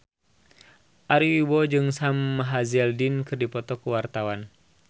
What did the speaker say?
Ari Wibowo jeung Sam Hazeldine keur dipoto ku wartawan